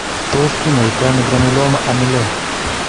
Tos kinyaito ano granuloma annulare ?